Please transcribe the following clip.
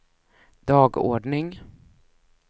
dagordning